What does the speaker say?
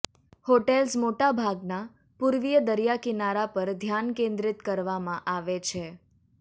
hotels મોટા ભાગના પૂર્વીય દરિયા કિનારા પર ધ્યાન કેન્દ્રિત કરવામાં આવે છે